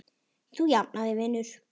Þú jafnar þig vinur.